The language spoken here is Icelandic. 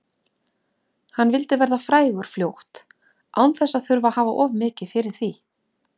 Hann vildi verða frægur fljótt án þess að þurfa að hafa of mikið fyrir því.